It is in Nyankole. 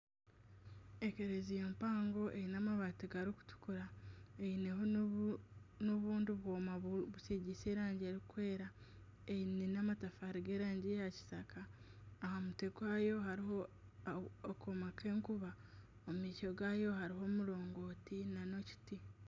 Ekereziya mpango eine amabaati garikutukura gaineho n'obundi bwoma busigiise erangi erikwera, eine nana amatafaari g'erangi ya kitaka aha mutwe gwayo hariho akooma k'enkuba omu maisho gaayo hariho omurongooti nana ekiti